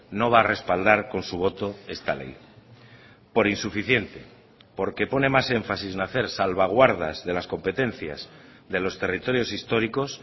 no va a respaldar con su voto esta ley por insuficiente porque pone más énfasis nacer salvaguardas de las competencias de los territorios históricos